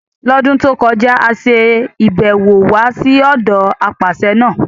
L'ọ́dún tó kọjá, a ṣe ibẹ̀ wò wá sí ọ̀dọ apàṣẹ náà.